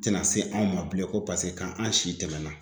Tɛna se anw ma bilen ko ko an si tɛmɛna